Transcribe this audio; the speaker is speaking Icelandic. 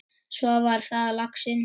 Svo var það laxinn!